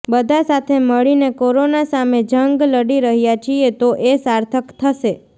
બધા સાથે મળીને કોરોના સામે જંગ લડી રહ્યાં છીએ તો એ સાર્થક થશે